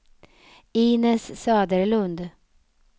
Inez Söderlund